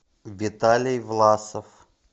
виталий власов